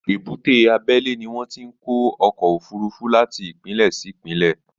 Èbúté abẹ́lé ni wọn ti ń ọkọ̀ òfurufú láti ìpínlẹ̀ sí ìpínlẹ̀